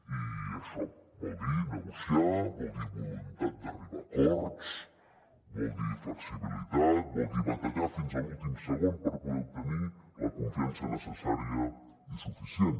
i això vol dir negociar vol dir voluntat d’arribar a acords vol dir flexibilitat vol dir batallar fins a l’últim segon per poder obtenir la confiança necessària i suficient